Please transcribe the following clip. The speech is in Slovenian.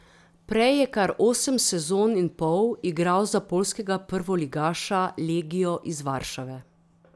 Prej je kar osem sezon in pol igral za poljskega prvoligaša legio iz Varšave.